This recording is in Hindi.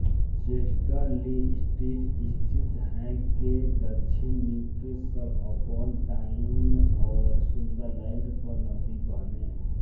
चेस्टर ली स्ट्रीट स्थित है के दक्षिण न्यूकैसल अपॉन टाइन और सुंदरलैंड पर नदी पहनें